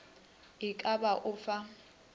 e ka ba o fa